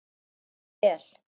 Og vissi það vel.